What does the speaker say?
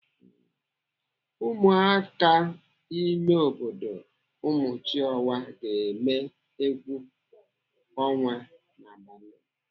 Ụmụaka imebodo umuchiọwa ga-eme egwu ọnwa n'abalị.